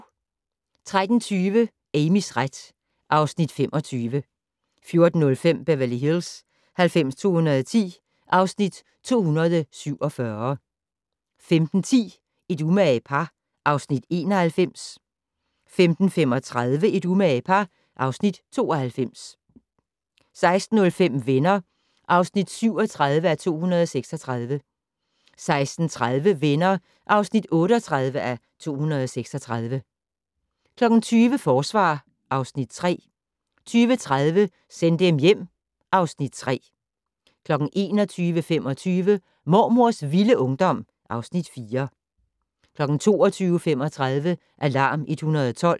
13:20: Amys ret (Afs. 25) 14:05: Beverly Hills 90210 (Afs. 247) 15:10: Et umage par (Afs. 91) 15:35: Et umage par (Afs. 92) 16:05: Venner (37:236) 16:30: Venner (38:236) 20:00: Forsvar (Afs. 3) 20:30: Send dem hjem (Afs. 3) 21:25: Mormors vilde ungdom (Afs. 4) 22:35: Alarm 112